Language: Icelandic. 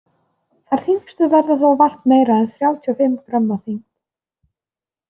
Þær þyngstu verða þó vart meira en þrjátíu og fimm grömm að þyngd.